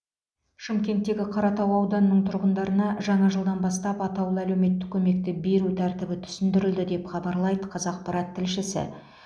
шымкенттегі қаратау ауданының тұрғындарына жаңа жылдан бастап атаулы әлеуметтік көмекті беру тәртібі түсіндірілді деп хабарлайды қазақпарат тілшісі